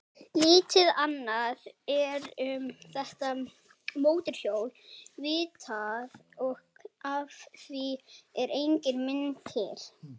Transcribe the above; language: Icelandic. Lítið annað er um þetta mótorhjól vitað og af því er engin mynd til.